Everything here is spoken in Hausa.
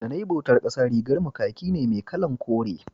da nayi bautan ƙasa rigar mu kaki ne mai kalan kore